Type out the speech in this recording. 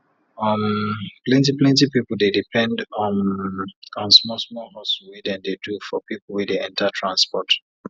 um plenti plenti people dey depend um on small small hustle wey dem dey do for people wey dey enter transport